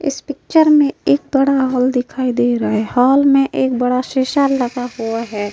इस पिक्चर में एक बड़ा हॉल दिखाई दे रहा है। हॉल में एक बड़ा शीशा लगा हुआ है।